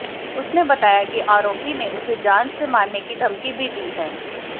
उसने बताया है कि आरोपी ने उसे जान से मारने की धमकी भी दी है